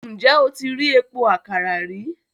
Ǹjẹ́ o ti rí epo àkàrà rí?